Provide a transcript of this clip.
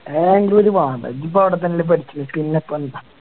എന്ന ബാംഗ്ലൂര് പോവാ അതാ ഇജ്ജിപ്പോ അവിടെത്തന്നെയല്ലേ പഠിച്ചണെ പിന്നപ്പെന്താ